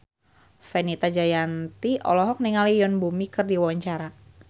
Fenita Jayanti olohok ningali Yoon Bomi keur diwawancara